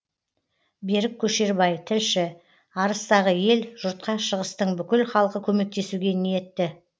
берік көшербай тілші арыстағы ел жұртқа шығыстың бүкіл халқы көмектесуге ниетті